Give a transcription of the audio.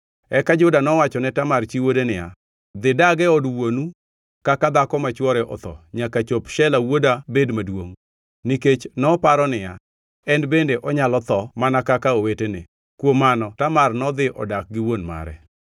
Eka Juda nowacho ne Tamar chi wuode niya, “Dhi dag e od wuonu kaka dhako ma chwore otho nyaka chop Shela wuoda bed maduongʼ.” Nikech noparo niya, “En bende onyalo tho mana kaka owetene.” Kuom mano Tamar nodhi odak gi wuon mare.